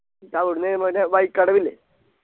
എന്നിട്ടവിട്ന്ന് മറ്റെ വഴിക്കടവില്ലെ